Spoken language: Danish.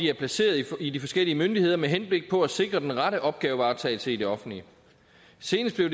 er placeret i de forskellige myndigheder med henblik på at sikre den rette opgavevaretagelse i det offentlige senest blev